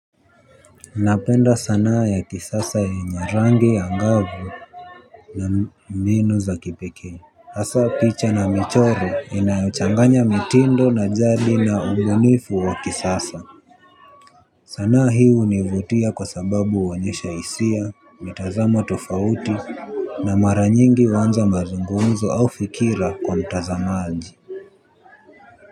Napenda sanaa ya kisasa yenye rangi agavu. Na mbinu za kipekee Asa picha na michoro inayochanganya mitindo na jadi na ubunifu wa kisasa. Sanaa hii hunivutia kwa sababu uonyesha isia mitazamo tofauti na mara nyingi uanza mazungumzo au fikira kwa mtazamalji.